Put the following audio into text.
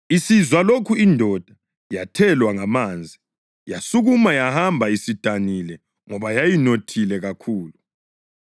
Isizwa lokhu indoda yathelwa ngamanzi. Yasukuma yahamba isidanile ngoba yayinothile kakhulu.